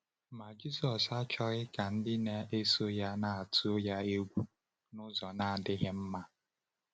Ma Jisọs achọghị ka ndị na-eso ya na-atụ ya egwu n’ụzọ na-adịghị mma.